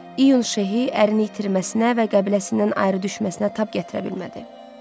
İyun Şeh ərin itirməsinə və qəbiləsindən ayrı düşməsinə tab gətirə bilmədi.